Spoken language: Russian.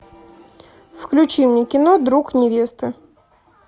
включи мне кино друг невесты